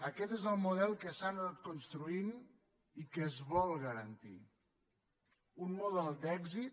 aquest és el model que s’ha anat construint i que es vol garantir un model d’èxit